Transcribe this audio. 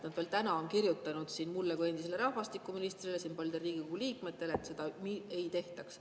Nad veel täna on kirjutanud mulle kui endisele rahvastikuministrile ja paljudele Riigikogu liikmetele, et seda ei tehtaks.